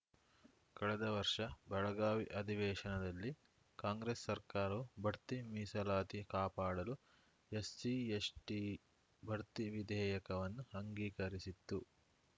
ಕಳೆದ ವರ್ಷ ಬೆಳಗಾವಿ ಅಧಿವೇಶನದಲ್ಲಿ ಕಾಂಗ್ರೆಸ್‌ ಸರ್ಕಾರವು ಬಡ್ತಿ ಮೀಸಲಾತಿ ಕಾಪಾಡಲು ಎಸ್‌ಸಿಎಸ್‌ಟಿ ಬಡ್ತಿ ವಿಧೇಯಕವನ್ನು ಅಂಗಿಕರಿಸಿತ್ತು